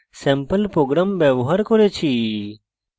sample programs ব্যবহার করেছি